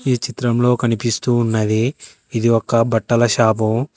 ఈ చిత్రంలో కనిపిస్తూ ఉన్నది ఇది ఒక బట్టల షాపు